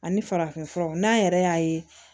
Ani farafin furaw n'a yɛrɛ y'a ye